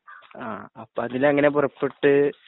ആ അപ്പ അതിലങ്ങനെ പുറപ്പെട്ട്